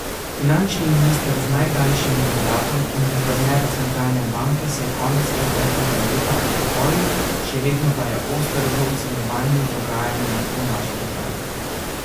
Finančni minister z najdaljšim mandatom in guverner centralne banke se je konec preteklega leta upokojil, še vedno pa je oster v ocenjevanju dogajanja v naši državi.